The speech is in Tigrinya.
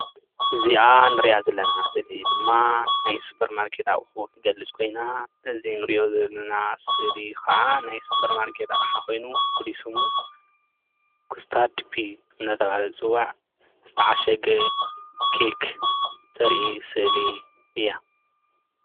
እዚአ እንርአ ዘለና ስእሊ ድማ ናይ ሱፐር ማርከት እዚ ንሪኣኦ ዘለና ስእሊ ከዓ ናይ ሱፐር ማርኬት አቕሓ ኮይና ትገልፀሉ ፉሉይ ስሙ ካስትድ ፒ እናተባህለ ዝፅዋዕ ዝተዓሸገ ኬክ ተርኢ ስእሊ እያ፡፡